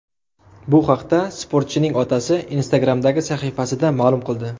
Bu haqda sportchining otasi Instagram’dagi sahifasida ma’lum qildi .